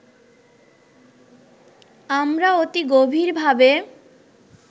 আমরা অতি গভীর ভাবে